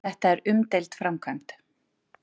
Þetta er umdeild framkvæmd